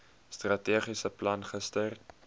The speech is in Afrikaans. strategiese plan gister